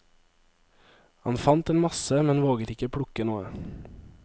Han fant en masse, men våget ikke plukke noe.